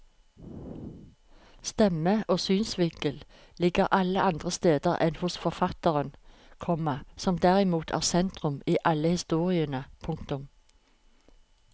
Stemme og synsvinkel ligger alle andre steder enn hos forfatteren, komma som derimot er sentrum i alle historiene. punktum